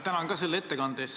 Tänan ka selle ettekande eest!